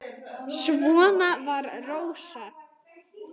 Svona var Rósa.